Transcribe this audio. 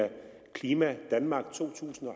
klima danmark to tusind og